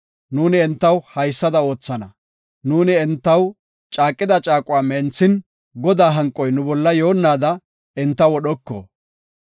Nuuni entaw haysada oothana; nuuni entaw caaqida caaquwa menthin Godaa hanqoy nu bolla yoonnaada enta wodhoko.